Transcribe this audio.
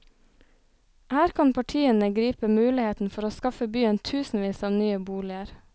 Her kan partiene gripe muligheten for å skaffe byen tusenvis av nye boliger.